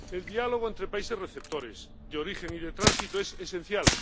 El diálogo entre países receptores, de origen y de tránsito es esencial.